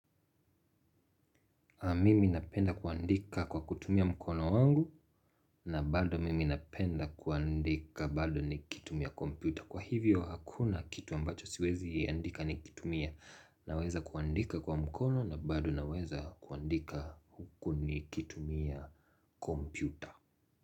Mimi napenda kuandika kwa kutumia mkono wangu na bado mimi napenda kuandika bado nikitumia kompyuta. Kwa hivyo hakuna kitu ambacho siwezi andika nikitumia. Naweza kuandika kwa mkono na bado naweza kuandika huku nikitumia kompyuta.